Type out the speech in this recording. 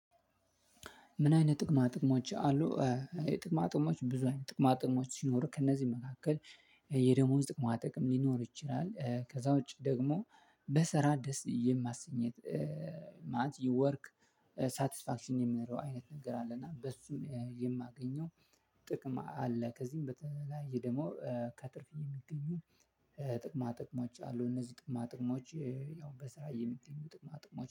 ምን አይነት ጥቅማ ጥቅሞች አሉ? ጥቅማ ጥቅሞች ብዙ አይነት ጥቅማ ጥቅሞች ሲኖር ከእነዚህም መካከል የደሞዝ ጥቅማ ጥቅም ሊኖር ይችላል ከዛ ውጪ ደግሞ በሰራ ደስ የማሰኘት ይወርክ ሳትስፋክሽን የምንለው አይነት ነገር አለ እና በሱ የማገኘው ጥቅም አለ። ከዚህም በተለያየ ደግሞ ከትርፍ የሚገኙን ጥቅማ ጥቅሞች አሉ። እነዚህ ጥቅማ ጥቅሞች ያው በስራ የሚገኙ ጥቅማ ጥቅሞች